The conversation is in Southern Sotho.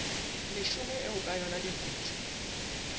leshome eo ka yona dikutu